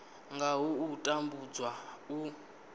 nga ha u tambudzwa u